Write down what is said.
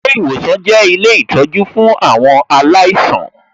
Ilé ìwòsan jẹ́ ilé ìtọjú fún àwọn aláìsàn